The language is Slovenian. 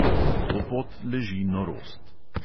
To pot leži norost.